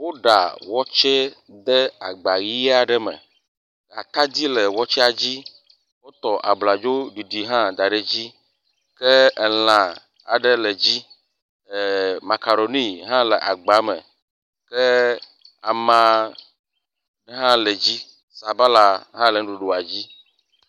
Woɖa watsɛ de agba yi aɖe me, atadi le watsɛa dzi, wotɔ abladzoɖiɖi da ɖe hã le edzi ke elã aɖe le dzi. Eee….. makaroni hã le agba me, ke amahã le dzi sabala hã le nuɖuɖua dzi.